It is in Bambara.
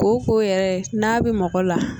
Kooko yɛrɛ n'a bɛ mɔgɔ la